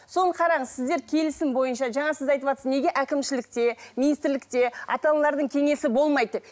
соны қараңыз сіздер келісім бойынша жаңа сіз айтыватсыз неге әкімшілікте министрлікте ата аналардың кеңесі болмайды деп